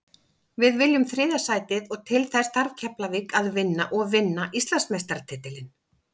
Við viljum þriðja sætið og til þess þarf Keflavík að vinna og vinna Íslandsmeistaratitilinn.